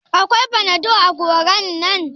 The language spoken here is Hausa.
Akwai fanadol a godan nan?